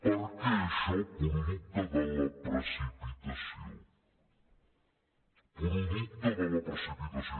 per què això producte de la precipitació producte de la precipitació